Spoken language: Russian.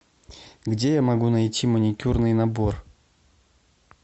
где я могу найти маникюрный набор